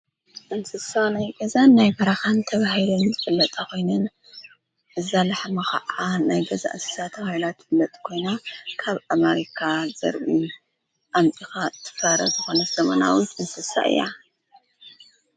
እንስሳ ናይ ገዛን ናይ በረኻን ተባሂሉ ዝፍለጣ ኾይነን እዛ ላሕሚ ኸዓ ናይ ገዛ እንስሳ ተባሂላ ትፍለጥ ኮይና ካብ ኣሚሪካ ዝርኢ አምፂእኻ ትፋረ ዝኾነት ዘመናዊት እንስሳ እያ ።